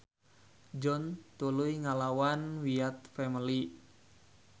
John tuluy ngalawan Wyatt Family.